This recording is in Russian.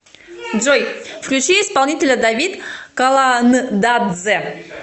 джой включи исполнителя давид каландадзе